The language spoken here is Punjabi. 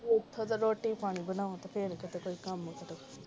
ਉੱਠੋ ਤੇ ਰੋਟੀ ਪਾਣੀ ਬਣਾਓ ਫੇਰ ਕਿਤੇ ਕੋਈ ਕੰਮ ਕਰੋ